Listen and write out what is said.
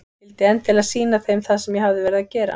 Vildi endilega sýna þeim það sem ég hafði verið að gera.